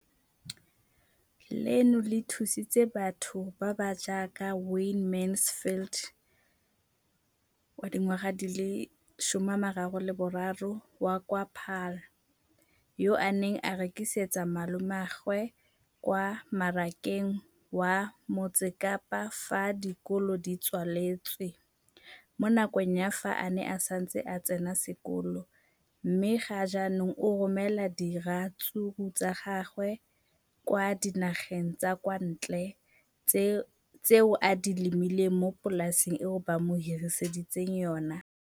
Leno le thusitse batho ba ba jaaka Wayne Mansfield, 33, wa kwa Paarl, yo a neng a rekisetsa malomagwe kwa Marakeng wa Motsekapa fa dikolo di tswaletse, mo nakong ya fa a ne a santse a tsena sekolo, mme ga jaanong o romela diratsuru tsa gagwe kwa dinageng tsa kwa ntle tseo a di lemileng mo polaseng eo ba mo hiriseditseng yona.